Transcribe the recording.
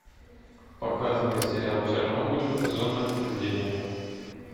показывай сериал чернобыль зона отчуждения